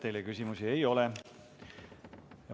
Teile küsimusi ei ole.